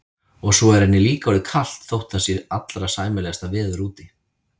Og svo er henni líka orðið kalt þótt það sé allra sæmilegasta veður úti.